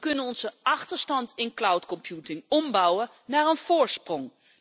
We kunnen onze achterstand in cloud computing ombouwen naar een voorsprong.